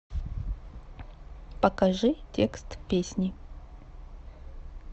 покажи текст песни